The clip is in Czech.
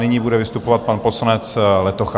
Nyní bude vystupovat pan poslanec Letocha.